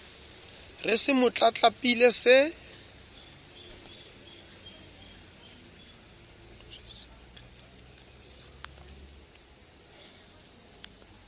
re se mo tlatlapile se